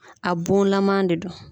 A bon lama de do.